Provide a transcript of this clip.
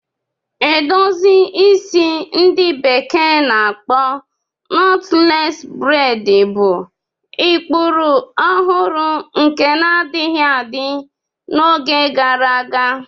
Edozi isi ndi bekee na-akpo Knotless braidi bụ ụkpụrụ ọhụrụ nke na-adịghị adị n'oge gara aga.